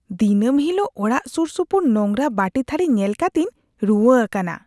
ᱫᱤᱱᱟᱹᱢ ᱦᱤᱞᱳᱜ ᱚᱲᱟᱜ ᱥᱩᱨᱥᱩᱯᱩᱨ ᱱᱚᱝᱨᱟ ᱵᱟᱹᱴᱤᱼᱛᱷᱟᱹᱨᱤ ᱧᱮᱞ ᱠᱟᱛᱮᱧ ᱨᱩᱣᱟ ᱟᱠᱟᱱᱟ ᱾